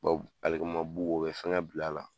alikama bu o bi fɛngɛ bila la